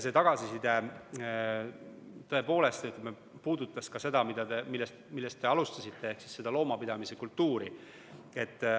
See tagasiside tõepoolest puudutas ka seda, millest te alustasite, ehk loomapidamise kultuuri.